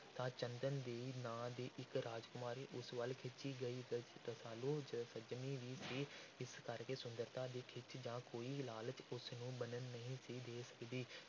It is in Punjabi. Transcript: ਤਾਂ ਚੰਦਨ ਦੇਈ ਨਾਂ ਦੀ ਇੱਕ ਰਾਜਕੁਮਾਰੀ ਉਸ ਵਲ ਖਿੱਚੀ ਗਈ। ਰ~ ਰਸਾਲੂ ਸ~ ਸੰਜਮੀ ਵੀ ਸੀ ਇਸ ਕਰਕੇ ਸੁੰਦਰਤਾ ਦੀ ਖਿੱਚ ਜਾਂ ਕੋਈ ਲਾਲਚ ਉਸ ਨੂੰ ਬੰਨ੍ਹ ਨਹੀਂ ਸੀ ਦੇ ਸਕਦੀ।